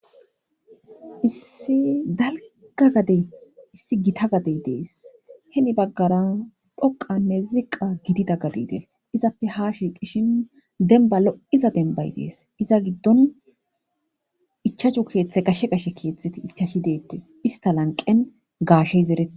issi dalga gade issi gita gadey dees he mi baggara dhoqanne ziqa gidida gadi dees izappe ha shi qishin denba lo7iza denbay dees iza giddon ichashu keeththe gashshe gashe keeththeti ichashi deettes ista lanqen gaashe zerete